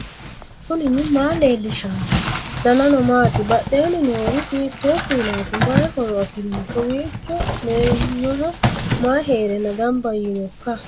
knuni maa leellishanno ? danano maati ? badheenni noori hiitto kuulaati ? mayi horo afirino ? kowiicho meenyoho mayi heerenna gamba yiinoikka